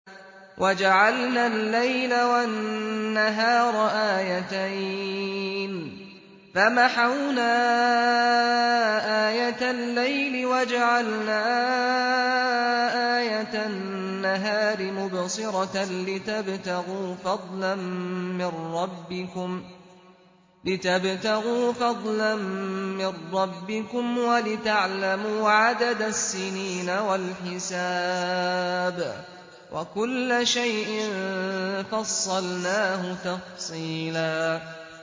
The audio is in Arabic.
وَجَعَلْنَا اللَّيْلَ وَالنَّهَارَ آيَتَيْنِ ۖ فَمَحَوْنَا آيَةَ اللَّيْلِ وَجَعَلْنَا آيَةَ النَّهَارِ مُبْصِرَةً لِّتَبْتَغُوا فَضْلًا مِّن رَّبِّكُمْ وَلِتَعْلَمُوا عَدَدَ السِّنِينَ وَالْحِسَابَ ۚ وَكُلَّ شَيْءٍ فَصَّلْنَاهُ تَفْصِيلًا